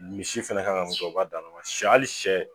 Misi fɛnɛ kan ka mun kɛ o b'a dan na ma hali sɛ